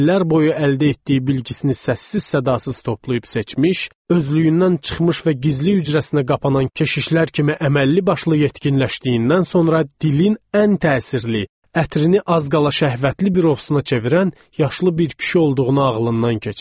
İllər boyu əldə etdiyi bilgisini səssiz-səmirsiz toplayıb seçmiş, özlüyündən çıxmış və gizli hücrəsinə qapanan keşişlər kimi əməlli-başlı yetkinləşdiyindən sonra dilin ən təsirli, ətrini az qala şəhvətli bir ovusuna çevirən, yaşlı bir kişi olduğunu ağlından keçirib.